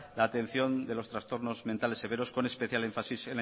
la atención de trastornos mentales severos con especial énfasis